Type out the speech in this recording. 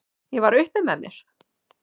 Ég var upp með mér!